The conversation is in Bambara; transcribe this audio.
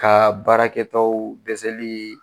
Ka baarakɛtaw dɛsɛli